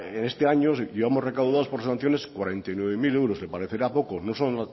en este año llevamos recaudados por sanciones cuarenta y nueve mil euros le parecerá poco no solo